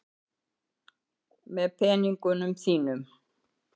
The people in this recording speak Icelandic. Með peningunum þínum.